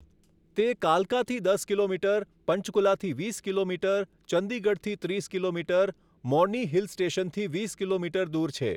તે કાલકાથી દસ કિલોમીટર, પંચકુલાથી વીસ કિલોમીટર, ચંદીગઢથી ત્રીસ કિલોમીટર, મોર્ની હિલ સ્ટેશનથી વીસ કિલોમીટર દૂર છે.